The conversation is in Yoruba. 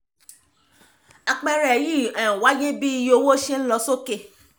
apẹẹrẹ yìí um wáyé bí iye owó ṣe ń lọ sókè